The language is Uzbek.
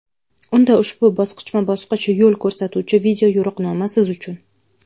Unda ushbu bosqichma-bosqich yo‘l ko‘rsatuvchi video-yo‘riqnoma siz uchun!.